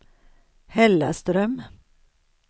Hällaström